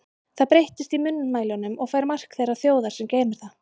Það breytist í munnmælunum og fær mark þeirrar þjóðar, sem geymir það.